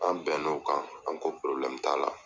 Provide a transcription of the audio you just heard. An bɛn n'o kan an ko t'a la.